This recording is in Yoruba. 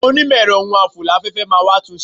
Àwọn onímọ̀ ẹ̀rọ ohun afò láfẹ́fẹ́ máa wá tún un ṣe.